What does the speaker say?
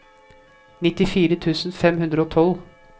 nittifire tusen fem hundre og tolv